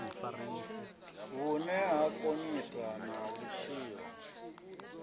vhune ha konisa na vhutshilo